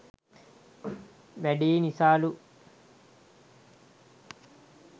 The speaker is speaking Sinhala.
වැඩියි නිසාලු.